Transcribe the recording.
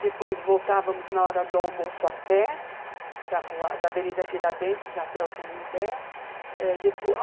Depois voltávamos na hora do almoço a pé, da Rua, Avenida Tiradentes até o Canindé. É, depois,